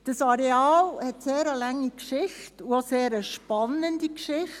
Das Areal hat eine sehr lange und auch sehr spannende Geschichte.